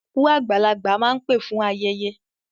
Òkú àgbàlagbà máa ń pé fún ayẹyẹ.